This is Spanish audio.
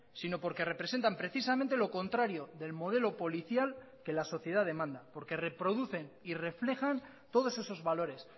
sino porque representan precisamente lo contrario del modelo policial que la sociedad demanda porque reproducen y reflejan todos esos valores